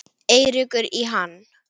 Eiríkur í hann.